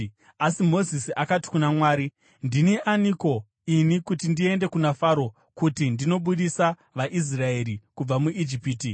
Asi Mozisi akati kuna Mwari, “Ndini aniko ini kuti ndiende kuna Faro kuti ndinobudisa vaIsraeri kubva muIjipiti?”